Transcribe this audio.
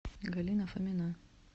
галина фомина